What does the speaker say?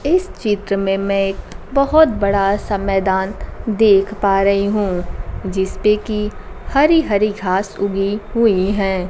इस चित्र में मैं एक बहोत बड़ा सा मैदान देख पा रही हूं जिसपे की हरी हरी घास उगी हुई हैं।